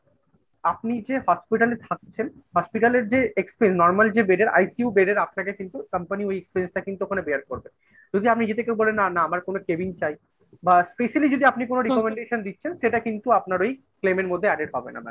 আপনি যে hospital এ থাকছেন hospital এর যে normal যে বেড এর ICU bed এর আপনাকে কিন্তু company ওই expense টা কিন্তু ওখানে bear করবে। যদি আপনি যদি কেউ বলেন না না আমার কোনো cabin চাই বা specially যদি আপনি কোনো recommendation দিচ্ছেন সেটা কিন্তু আপনার ওী claim এর মধ্যে added হবেনা mam